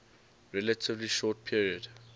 relatively short period